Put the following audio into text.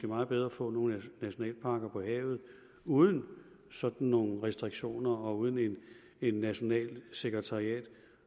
meget bedre at få nogle nationalparker på havet uden sådan nogle restriktioner og uden et nationalt sekretariat